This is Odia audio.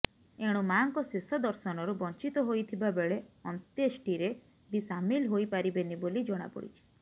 ଏଣୁ ମାଁଙ୍କ ଶେଷ ଦର୍ଶନରୁ ବଞ୍ଚିତ ହୋଇଥିବା ବେଳେ ଅନ୍ତ୍ୟେଷ୍ଟିରେ ବି ସାମିଲ ହୋଇପାରିବେନି ବୋଲି ଜଣାପଡିଛି